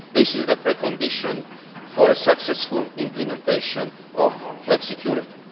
This is the precondition for a successful implementation of flexicurity.